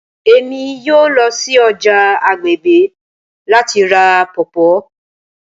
Emi yoo lọ si ọja agbegbe lati ra pawpaw